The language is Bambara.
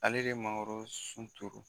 Ale de mankorosun turu.